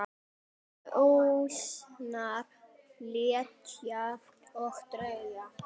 Ljósar hetjur og dökkar hetjur.